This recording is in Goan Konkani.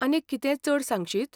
आनीक कितेंय चड सांगशीत?